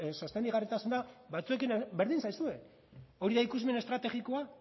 sostengarritasuna batzuekin berdin zaizue hori da ikusmen estrategikoa